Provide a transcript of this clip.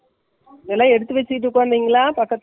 எல்லா எடுத்து வச்சிட்டு உக்காந்திங்களா பக்கத்துல .